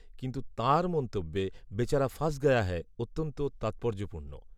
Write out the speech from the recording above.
কিন্তু তাঁর মন্তব্যে "বেচারা ফাঁস গয়া হ্যায়" অত্যন্ত তাৎপর্যপূর্ণ